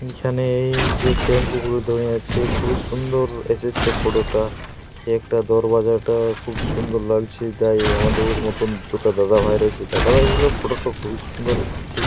এখানে যে টেম্পু গুলো দাঁড়িয়ে আছে খুবই সুন্দর এসেছে ফটো - টা। একটা দরবাজাটা খুব সুন্দর লাগছে তাই আমাদের মতন দুটা দাদাভাই রয়েছে। দাদা ভাইয়ের ও ফটো - টা খুব সুন্দর এসেছে।